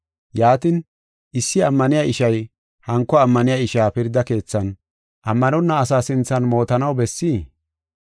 Yaatin, issi ammaniya ishay hanko ammaniya isha pirda keethan ammanonna asaa sinthan mootanaw bessii?